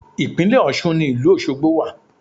Ìpínlẹ̀ Ọ̀ṣun ni ìlú Ọ̀ṣọgbo wà